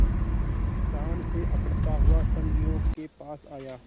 शान से अकड़ता हुआ संगियों के पास आया